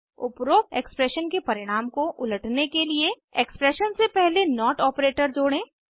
उपरोक्त एक्सप्रेशन के परिणाम को उलटने के लिए एक्सप्रेशन से पहले नोट ऑपरेटर जोड़ें